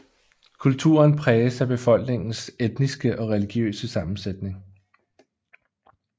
Kulturen præges af befolkningens etniske og religiøse sammensætning